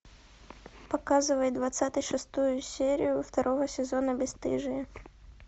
показывай двадцать шестую серию второго сезона бесстыжие